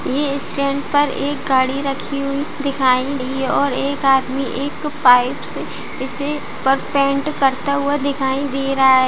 ये एक स्टैन्ड पर एक गाड़ी रखी हुई दिखाई रही है और एक आदमी एक पाइप से इसे पर पेंट करता हुआ दिखाई दे रहा है